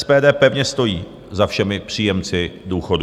SPD pevně stojí za všemi příjemci důchodů.